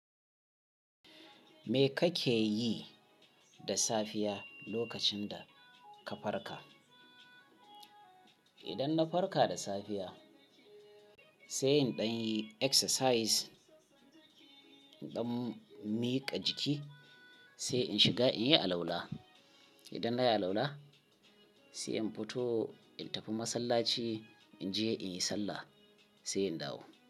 Me kake yi da safiya lokacin da ka farka? Idan na farka da safiya, sai in ɗan yi exercise, in ɗan miƙa jiki, sai in shiga in yi alala. Idan na yi alala, sai in fito in tafi masallaci, in je in yi sallah, sai in dawo.